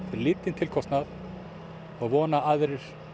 lítinn tilkostnað og vona að aðrir